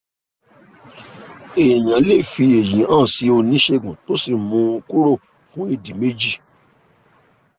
èèyàn lè fi èyí hàn sí oníṣègùn tó sì mú un kúrò fún ìdí méjì